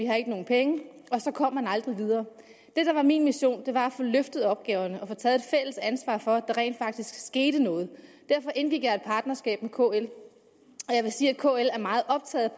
havde nogen penge og så kom man aldrig videre det der var min mission var at få løftet opgaverne og få taget et fælles ansvar for at der rent faktisk skete noget derfor indgik jeg et partnerskab med kl og jeg vil sige at kl er meget optaget